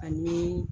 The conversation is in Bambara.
Ani